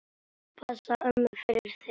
Ég passa ömmu fyrir þig.